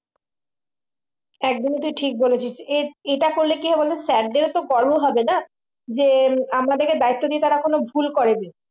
একদমই তুই ঠিক বলেছিস এ এটা করলে কি হবে বলতো sir দের বরো হবে না আমাদেরকে দায়িত্ব দিয়ে তারা কোনো ভুল করেনি মানে আমাদেরকে কিন্তু best দিতে হবে ঠিক আছে সমস্ত দেখে manage করে সমস্ত ব্যাপারটা